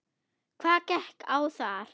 Hvað gekk á þar?